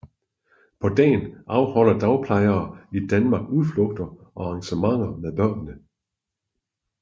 På dagen afholder dagplejere i Danmark udflugter og arrangementer med børnene